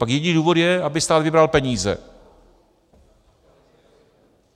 Pak jediný důvod je, aby stát vybral peníze.